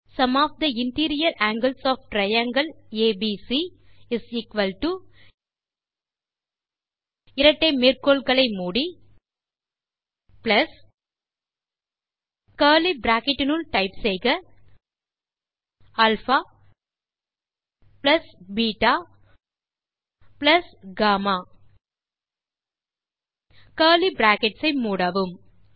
sum of the interior angles of triangle ABC இரட்டை மேற்கோள்களை மூடி பிளஸ் கர்லி பிராக்கெட் இனுள் டைப் செய்க alpha beta gamma curly brackets ஐ மூடவும்